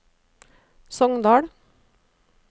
Sogndal